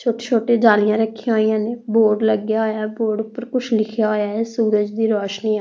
ਛੋਟੇ ਛੋਟੇ ਜਾਲੀਆਂ ਰੱਖੀਆਂ ਹੋਈਆਂ ਨੇ ਬੋਰਡ ਲੱਗਿਆ ਹੋਇਆ ਹੈ ਬੋਰਡ ਉਪਰ ਕੁਛ ਲਿਖਿਆ ਹੋਇਆ ਹੈ ਸੂਰਜ ਦੀ ਰੌਸ਼ਨੀ ਆ।